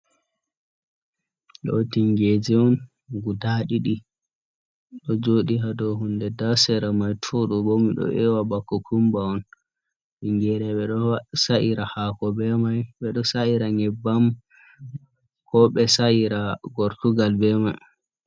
Ɗoo tingeje on guda ɗiɗi, ɗo jooɗi ha do hunde nda sera mai to ɗo bo miɗo ewa ba kokumba on. Tingere ɓe ɗo sa’ira haako be mai, ɓe ɗo sa’ira nyebbam, ko ɓe sa'ira gortugal be mai.